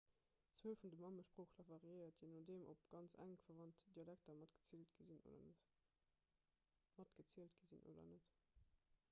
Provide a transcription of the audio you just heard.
d'zuel vun de mammesproochler variéiert jee nodeem ob ganz enk verwannt dialekter matgezielt sinn oder net